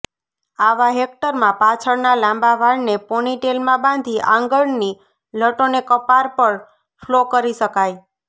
આવા હેરકટમાં પાછળના લાંબા વાળને પોની ટેઇલમાં બાંધી આંગળની લટોને કપાળ પર ફ્લો કરી શકાય